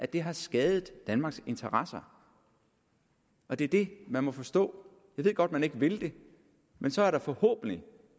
det har skadet danmarks interesser og det er det man må forstå jeg ved godt man ikke vil det men så er der forhåbentlig